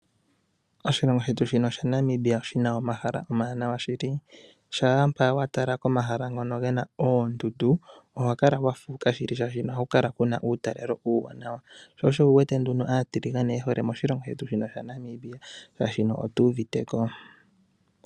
Oshilongo shetu shaNamibia oshi na omahala omawaanawa shili. Shampa wa tala komahala ngoka ge na oondundu, oho kala wa fuuka shili, oshoka oha ku kala ku na uutalelo uuwanawa. Sho osho wu wete nduno aatalelipo ye hole moshilongo shetu shaNamibia oshoka otu uvite ko.